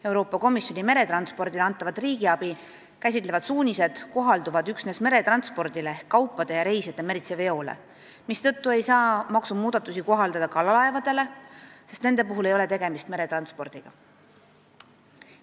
Euroopa Komisjoni meretranspordile antavat riigiabi käsitlevad suunised kohalduvad üksnes meretranspordile ehk kaupade ja reisijate meritsi veole, mistõttu ei saa maksumuudatusi kohaldada kalaevadele, sest nende puhul ei ole tegemist meretranspordiga.